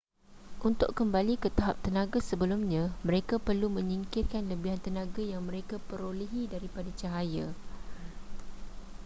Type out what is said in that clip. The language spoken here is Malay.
untuk kembali ke tahap tenaga sebelumnya mereka perlu menyingkirkan lebihan tenaga yang mereka perolehi daripada cahaya